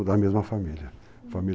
da mesma família